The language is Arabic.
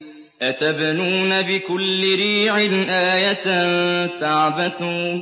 أَتَبْنُونَ بِكُلِّ رِيعٍ آيَةً تَعْبَثُونَ